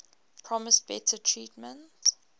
promised better treatment